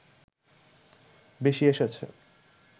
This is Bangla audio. বেশি এসেছে